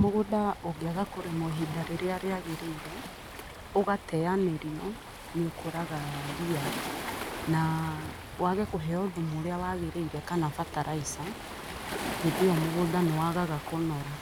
Mũgũnda ũngĩaga kũrĩmwo ihinda rĩrĩa rĩagĩrĩire, ũgateanĩrio, ni ũkũraga ria. Na wage kũheo thumu ũrĩa wagĩrĩire kana bataraica, hĩndĩ ĩyo mũgũnda ni wagaga kũnora.